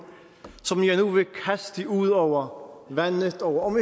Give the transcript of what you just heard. som jeg nu vil kaste ud over vandet og om